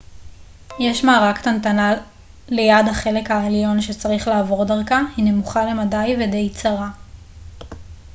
יש מערה קטנטנה ליד החלק העליון שצריך לעבור דרכה היא נמוכה למדי ודי צרה